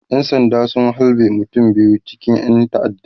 ƴan sanda sun halbe mutum biyu cikin ƴan ta'adda